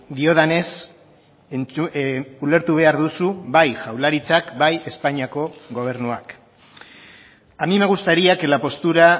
diodanez ulertu behar duzu bai jaurlaritzak bai espainiako gobernuak a mí me gustaría que la postura